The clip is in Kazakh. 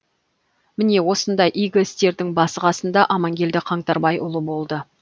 міне осындай игі істердің басы қасында аманкелді қаңтарбайұлы болды